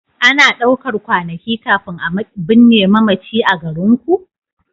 Ana ɗaukar kwanakai kafin a binne mamaci a garinku?